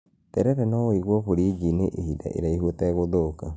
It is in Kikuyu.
Terere no ũigwo buriji-inĩ ihinda iraihu ũtegũthũka